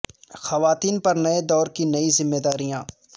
خواتین پر نئے دور کی نئی ذمہ داریاں